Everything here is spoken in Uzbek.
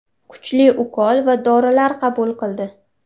Kuchli ukol va dorilar qabul qildi.